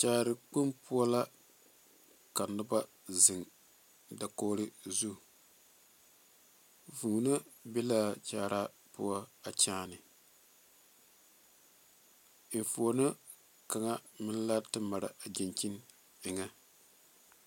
Kyaare kpoŋ poɔ la ka noba zeŋ dakogri zu vūūnee be la a kyaara poɔ a kyaane enfuuno kaŋa meŋ la te mare a dankyini eŋa.